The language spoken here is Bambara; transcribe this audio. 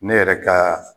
Ne yɛrɛ ka